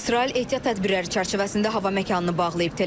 İsrail ehtiyat tədbirləri çərçivəsində hava məkanını bağlayıb.